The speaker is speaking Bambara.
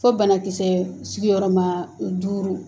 Fo banakisɛ sigiyɔrɔ ma duuru